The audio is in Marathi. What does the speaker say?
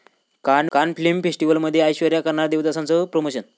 कान फिल्म फेस्टिवलमध्ये ऐश्वर्या करणार 'देवदास'चं प्रमोशन